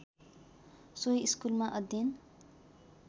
सोही स्कुलमा अध्ययन